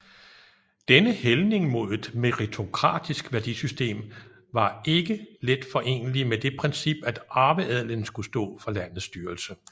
Denne hældning mod et meritokratisk værdisystem var ikke let forenelig med det princip at arveadelen skulle stå for landets styrelse